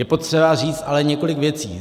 Je potřeba říct ale několik věcí.